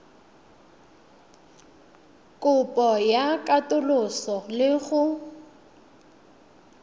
kopo ya katoloso le go